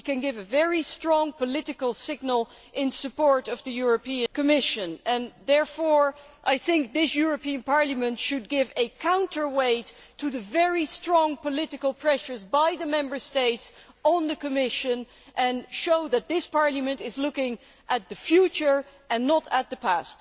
We can give a very strong political signal in support of the Commission, and therefore I think this European Parliament should act as a counterweight to the very strong political pressure from the Member States on the Commission and show that this Parliament is looking to the future and not to the past.